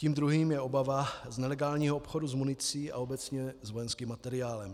Tím druhým je obava z nelegálního obchodu s municí a obecně s vojenským materiálem.